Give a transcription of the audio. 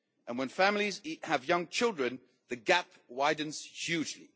When families have young children, the gap widens hugely.